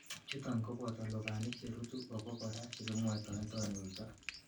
Chuton koboto lubanik cherutu obo kora chekimwoitoen tonuito.